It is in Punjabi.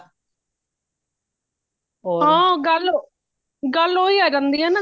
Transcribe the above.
ਹਾਂ ਗੱਲ ਗੱਲ ਓਹੀ ਆ ਜਾਂਦੀ ਹੈ ਨਾ